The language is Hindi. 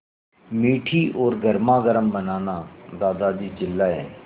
मीठी और गर्मागर्म बनाना दादाजी चिल्लाए